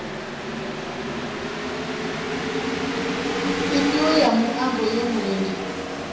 ifhio ya muambo ye murendi